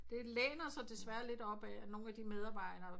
Det læner sig desværre lidt op af at nogen af de medarbejder